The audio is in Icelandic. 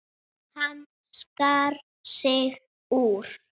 Hann skar sig úr.